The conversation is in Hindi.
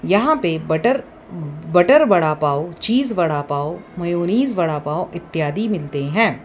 यहां पे butter butter vada pav cheese vada pav mayonnaise vada pav इत्यादि मिलते हैं।